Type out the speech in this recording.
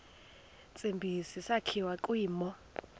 tsibizi sakhiwa kwimo